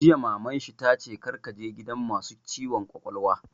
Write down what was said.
Jiya Maman shi ta ce 'Kar ka je gidan masu ciwon kwakwalwa'!